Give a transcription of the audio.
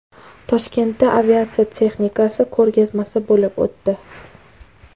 Toshkentda aviatsiya texnikasi ko‘rgazmasi bo‘lib o‘tdi .